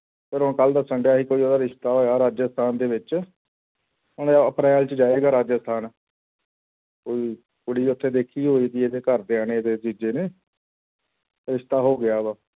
ਔਰ ਉਹ ਕੱਲ੍ਹ ਦੱਸਣ ਡਿਆ ਸੀ ਕੋਈ ਉਹਦਾ ਰਿਸਤਾ ਆਇਆ ਰਾਜਸਥਾਨ ਦੇ ਵਿੱਚ, ਹੁਣ ਉਹ ਅਪ੍ਰੈਲ 'ਚ ਜਾਏਗਾ ਰਾਜਸਥਾਨ ਕੋਈ ਕੁੜੀ ਉੱਥੇ ਦੇਖੀ ਹੋਏਗੀ ਇਹਦੇ ਘਰਦਿਆਂ ਨੇ ਇਹਦੇ ਜੀਜੇ ਨੇ ਰਿਸਤਾ ਹੋ ਗਿਆ ਵਾ।